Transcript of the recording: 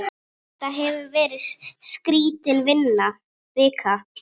Þetta hefur verið skrítin vika.